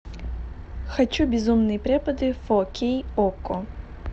хочу безумные преподы фо кей окко